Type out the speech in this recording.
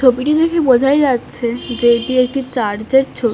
ছবিটি দেখেই বোঝাই যাচ্ছে যে এটি একটি চার্চ এর ছবি।